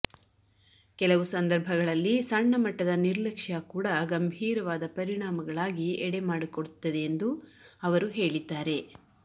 ಕೆಲವು ಸಂದರ್ಭಗಳಲ್ಲಿ ಸಣ್ಣ ಮಟ್ಟದ ನಿರ್ಲಕ್ಷ ಕೂಡಾ ಗಂಭೀರವಾದ ಪರಿಣಾಮಗಳಾಗಿ ಎಡೆಮಾಡಿಕೊಡುತ್ತದೆಯೆಂದು ಅವರು ಹೇಳಿದ್ದಾರೆ